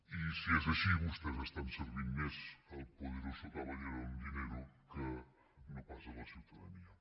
i si és així vostès estan servint més el poderoso caballero don dinero que no pas la ciutadania